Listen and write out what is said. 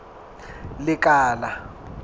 lekala